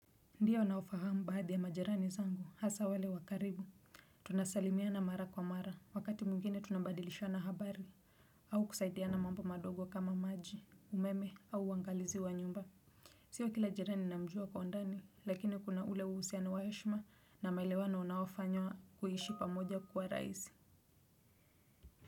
Ndio nawafahamu baadhi ya majirani zangu hasa wale wa karibu tunasalimiana mara kwa mara wakati mwingine tunabadilishana habari au kusaidiana mambo madogo kama maji umeme au uangalizi wa nyumba sio kila jirani namjua kwa undani lakini kuna ule uhusiano wa heshima na maelewano unaofanywa kuishi pamoja kwa rahisi.